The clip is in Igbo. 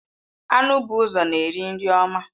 Anụ bụ ụzọ na-eri nri ọma.